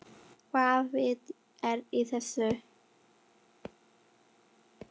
Hvaða vit er í þessu?